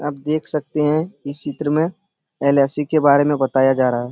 आप देखा सकते हैं इस चित्र में एल.आइ.सी. के बारे में बताया जा रहा है।